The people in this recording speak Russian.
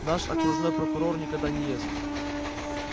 наш окружной прокурор никогда не ест